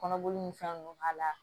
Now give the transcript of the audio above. Kɔnɔboli ni fɛn nunnu k'a la